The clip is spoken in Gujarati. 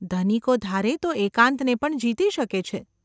‘ધનિકો ધારે તો એકાંતને પણ જીતી શકે છે.